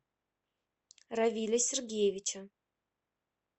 равиля сергеевича